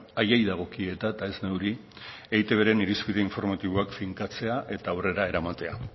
haiei dagokie eta eta ez neuri eitbren irizpide informatiboak finkatzea eta aurrera eramatea